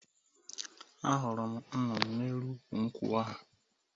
Ahụrụ m nnụnụ n’elu ukwụ nkwụ ahụ.